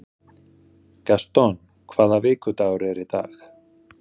Gaston, hvaða vikudagur er í dag?